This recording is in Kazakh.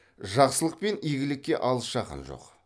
жақсылық пен игілікке алыс жақын жоқ